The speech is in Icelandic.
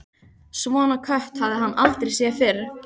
Svona kött hafði hann aldrei séð fyrr.